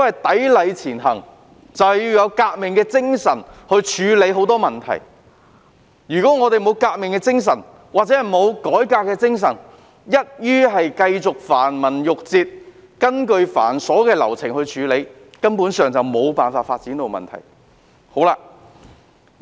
"砥礪前行"就是要有革命的精神處理眾多問題，如果沒有革命或改革的精神，只是繼續依循繁文縟節、繁瑣的流程處理，根本無法解決有關發展的問題。